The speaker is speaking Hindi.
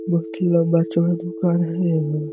बहोत ही लंबा-चौड़ा दुकान हैयहाँ --